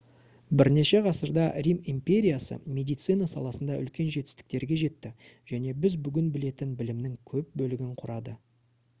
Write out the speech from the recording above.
бірнеше ғасырда рим империясы медицина саласында үлкен жетістіктерге жетті және біз бүгін білетін білімнің көп бөлігін құрады